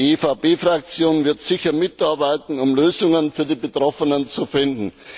Die EVP Fraktion wird sicher mitarbeiten, um Lösungen für die Betroffenen zu finden.